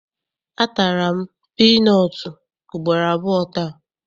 A tara m piinọọtụ ugboro abụọ taa.